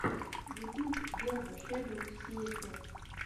ютуб верба шэдоу сиэтэ